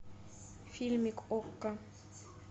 фильмик окко